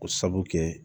O sabu kɛ